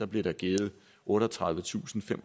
blev der givet otteogtredivetusinde